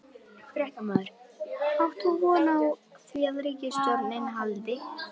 Fréttamaður: Átt þú von á því að ríkisstjórnin haldi?